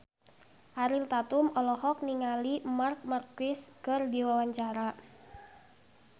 Ariel Tatum olohok ningali Marc Marquez keur diwawancara